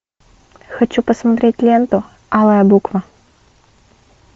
хочу посмотреть ленту алая буква